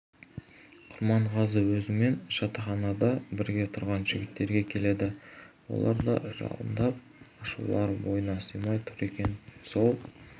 құрманғазы өзімен жатақханада бірге тұрған жігіттерге келеді олар да жалындап ашулары бойына сыймай тұр екен сол